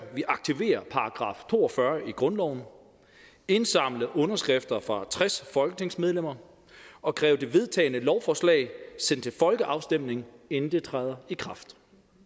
vil aktivere § to og fyrre i grundloven indsamle underskrifter fra tres folketingsmedlemmer og kræve det vedtagne lovforslag sendt til folkeafstemning inden det træder i kraft